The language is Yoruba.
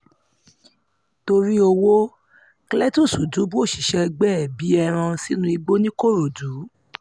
torí ọwọ́ cletus dùbú òṣìṣẹ́ ẹgbẹ́ ẹ̀ bíi ẹran sínú igbó ńìkòròdú